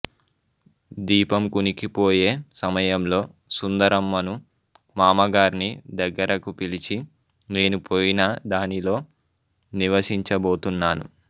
దీపం కునికిపోయే సమయంలో సుందరమ్మను మామగార్ని దగ్గరకు పిలిచి నేను పోయినా దానిలో నివసించబోతున్నాను